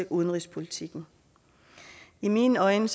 udenrigspolitikken i mine øjne